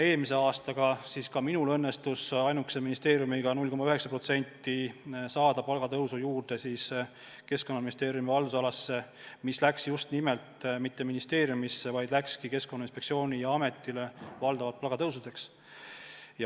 Eelmisel aastal ka minul õnnestus ainukese ministeeriumina meie haldusalasse 0,9% palgatõusu saada, see raha ei läinud mitte ministeeriumisse, vaid Keskkonnainspektsioonile ja Keskkonnaametile valdavalt palgatõusudeks.